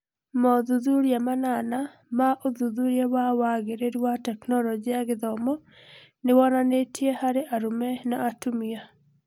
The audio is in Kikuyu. Mothuthuria manana maũthuthuria wa wagĩrĩru wa Tekinoronjĩ ya Gĩthomo nĩ wonanĩtie harĩ arũme na atumia .